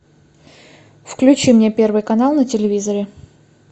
включи мне первый канал на телевизоре